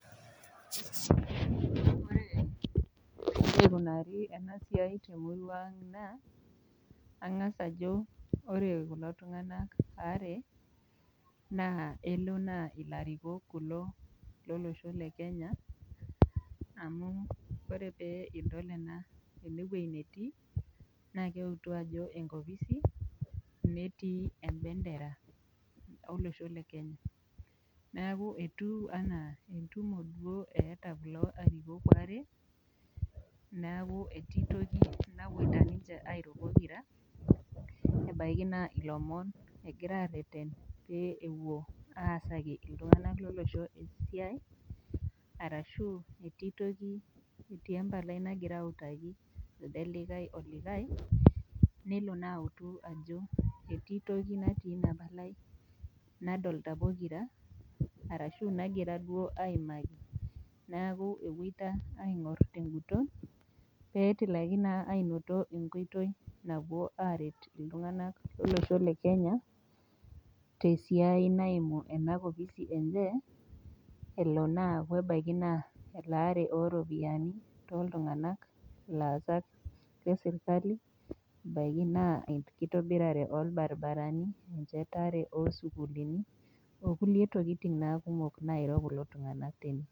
ore enagira ena siai aikunari tee murua ang naa ang'as Ajo ore kulo tung'ana are naa elarikok lolosho le Kenya amu ore pee edol ene netii naa keutu Ajo enkopisi amu etii ebendera olosho le Kenya neeku etiu ena entumo duo etaa kulo ariko are neeku etii entoki napuoto ninche airo pokira nebaiki naa elomon egira ninche areten pee epuo asaki iltung'ana lolosho esiai ashu eti embalai nagira autaki olikae nelo naa autu Ajo etii toki natii ena palai nadolita pokira ashu nagira duo ayimaki neeku epuoito aing'or tee guton petumoki naa anoto enkoitoi napuo aret iltung'ana lolosho le Kenya tee esiai nayimu ena kopisi enye elo naa aku ebaiki naa elare oo ropiani too iltung'ana laasak lee sirkali ebaiki naa enkitobirare oo irbaribarani enjetare oo sukuulini oo kulie tokitin kumok nairoo kulo tung'ana tene